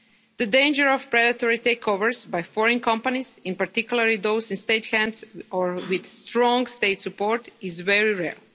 The danger of predatory takeovers by foreign companies, in particular those in state hands or with strong state support, is very real.